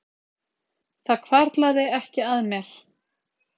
Það hvarflaði ekki að mér